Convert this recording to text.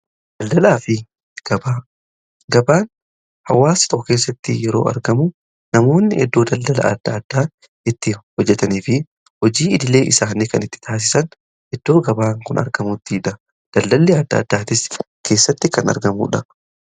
Daldalaa fi gabaan hawaasn otoo keessatti yeroo argamu namoonni iddoo daldala adda addaa itti hojjetanii fi hojii idilee isaanii kan itti taasisan iddoo gabaan kun argamuttidha . Daldalli adda addaa as keessatti kan argamuudha.